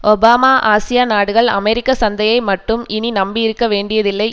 Obama Asia நாடுகள் அமெரிக்க சந்தையை மட்டும் இனி நம்பியிருக்க வேண்டியதில்லை